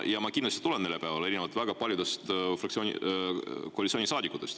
Ja ma kindlasti tulen neljapäeval, erinevalt väga paljudest koalitsioonisaadikutest.